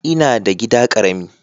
Ina da gida karamin.